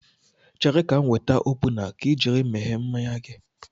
Chere ka m weta opuna ka I jiri meghee mmanya gị